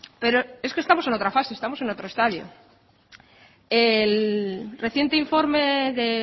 pero es que estamos en otra fase estamos en otro estadio el reciente informe de